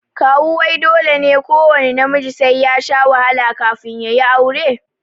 Kawu wai dole ne kuwanna namiji sai yashi wahala kafin yayi aure?